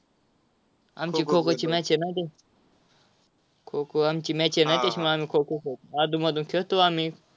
आमची खो-खोची match आहे ना खो-खो आमची match आहे ना आम्ही खो-खो खेळतो. अधूनमधून खेळतो आम्ही.